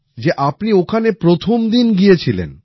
যে আপনি ওখানে প্রথমদিন গিয়েছিলেন